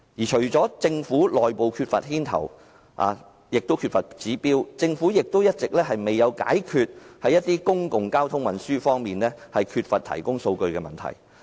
除了政府內部缺乏牽頭及指標外，政府亦一直未有解決在公共交通運輸方面缺乏數據提供的問題。